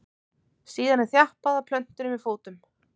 síðan er þjappað að plöntunni með fótum